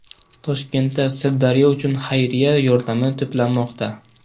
Toshkentda Sirdaryo uchun xayriya yordami to‘planmoqda.